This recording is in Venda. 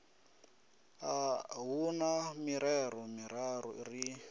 hu na mirero miraru ri